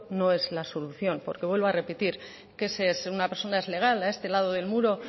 no es la solución porque vuelvo a repetir que si una persona es legal a este lado del muro